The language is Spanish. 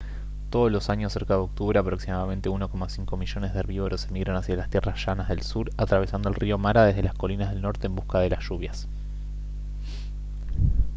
todos los años cerca de octubre aproximadamente 1,5 millones de herbívoros emigran hacia las tierras llanas del sur atravesando el río mara desde las colinas del norte en busca de las lluvias